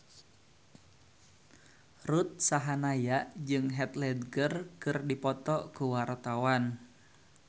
Ruth Sahanaya jeung Heath Ledger keur dipoto ku wartawan